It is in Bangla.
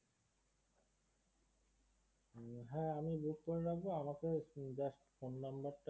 হ্যাঁ আমি book করে রাখবো আমাকে just phone number টা